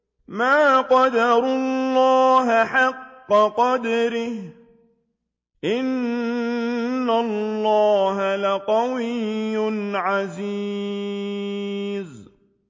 مَا قَدَرُوا اللَّهَ حَقَّ قَدْرِهِ ۗ إِنَّ اللَّهَ لَقَوِيٌّ عَزِيزٌ